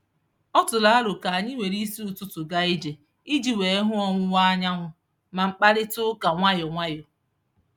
Ọ tụrụ aro ka anyị were isi ụtụtụ gaa ije iji wee hụ ọwụwa anyanwụ ma mkparịtaụka nwayọ nwayọ.